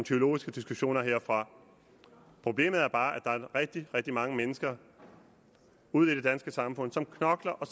teologiske diskussioner herfra problemet er bare at der er rigtig rigtig mange mennesker ude i det danske samfund som knokler og